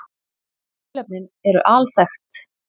Tilefnin eru alþekkt